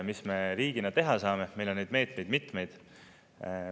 Mis me riigina teha saame, meil on neid meetmeid mitmeid.